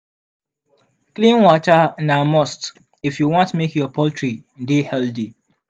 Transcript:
clean water na must if you want make your poultry dey healthy.